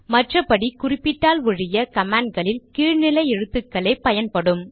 மற்றபடி குறிப்பிட்டால் ஒழிய கமாண்ட்களில் கீழ் நிலை எழுத்துக்களே பயன்படும்